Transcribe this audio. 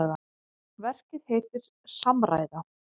Verkið heitir Samræða.